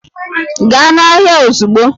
Gaa n'ahịa ozugbo!